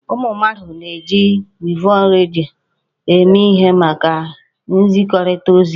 Ụmụ mmadụ na-eji wevu redio eme ihe maka nzikọrịta ozi.